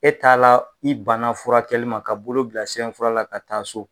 E t'a la, i banna furakɛli ma, ka bolo bilasenfura la, ka taa so